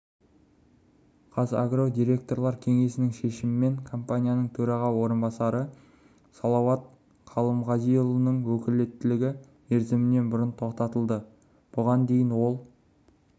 қазагро директорлар кеңесінің шешімімен компанияның төраға орынбасары салауат қалымғазинұлының өкілеттігі мерзімінен бұрын тоқтатылды бұған дейін ол